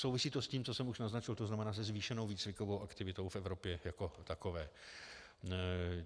Souvisí to s tím, co jsem už naznačil, to znamená, se zvýšenou výcvikovou aktivitou v Evropě jako takové.